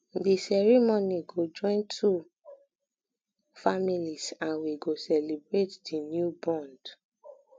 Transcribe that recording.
di ceremony go join two go join two families and we go celebrate the new bond